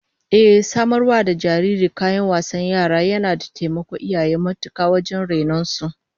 Ehh, samar wa da jariri kayan wasan yara yana taimakon iyaye matuka wajen rainon su